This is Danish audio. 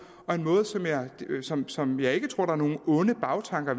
og en måde som som jeg ikke tror der er nogen onde bagtanker